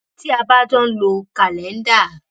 tí a bá jọ ń lo kàléńdà